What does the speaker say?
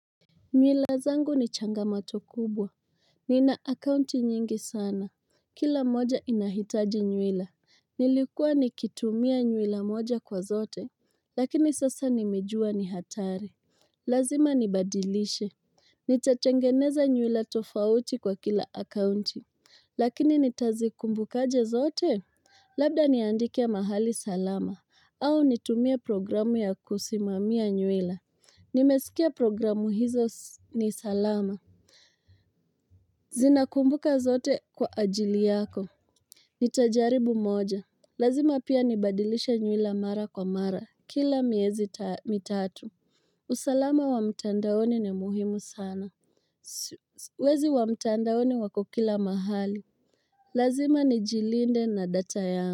Mila zangu ni changamato kubwa Nina akaunti nyingi sana Kila moja inahitaji nywila Nilikuwa nikitumia nywila moja kwa zote Lakini sasa nimejua ni hatari Lazima nibadilishe Nitatengeneza nywila tofauti kwa kila akaunti Lakini nitazikumbukaje zote? Labda niandike mahali salama au nitumie programu ya kusimamia nywila Nimesikia programu hizo ni salama zinakumbuka zote kwa ajili yako nitajaribu moja lazima pia nibadilishe nywila mara kwa mara kila miezi mitatu usalama wa mtandaoni ni muhimu sana wezi wa mtandaoni wako kila mahali lazima nijilinde na data ya.